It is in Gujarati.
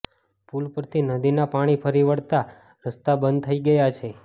પૂલ પરથી નદીના પાણી ફરી વળતા રસ્તા બંધ થઈ ગયા છે